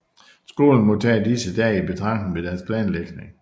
Skolerne må tage disse dage i betragtning ved deres planlægning